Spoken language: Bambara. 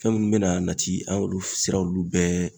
Fɛn minnu bɛ na nati an y'olu siraw bɛɛ